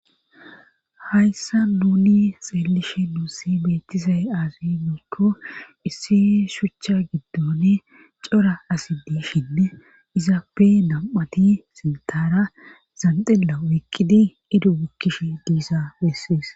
hayssa nuni xeelishe nuussi beettizay aazi giiko issi shuchcha giddone cora asi diishinne izaappe nam''ati sintara zanxilla oykidi i bukkish diisa bessees.